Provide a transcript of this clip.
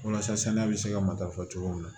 Walasa saniya bɛ se ka matarafa cogo min na